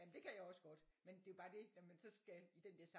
Jamen det kan jeg også godt men det er jo bare det når man så skal i den der